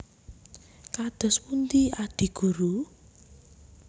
Kados pundi Adi Guru